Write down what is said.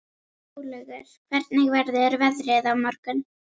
Snjólaugur, hvernig verður veðrið á morgun?